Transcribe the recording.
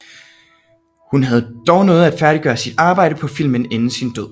Hun havde dog nået at færdiggøre sit arbejde på filmen inden sin død